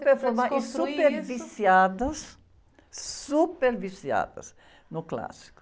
Super formadas e super viciadas, super viciadas no clássico.